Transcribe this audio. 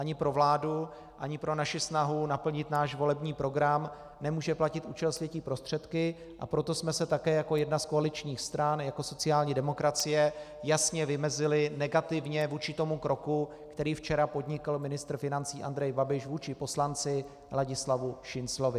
Ani pro vládu ani pro naši snahu naplnit náš volební program nemůže platit účel světí prostředky, a proto jsme se také jako jedna z koaličních stran, jako sociální demokracie, jasně vymezili negativně vůči tomu kroku, který včera podnikl ministr financí Andrej Babiš vůči poslanci Ladislavu Šinclovi.